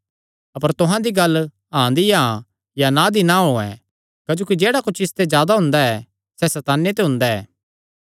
अपर तुहां दी गल्ल हाँ दी हाँ या ना दी ना होयैं क्जोकि जेह्ड़ा कुच्छ इसते जादा हुंदा ऐ सैह़ सैताने ते हुंदा ऐ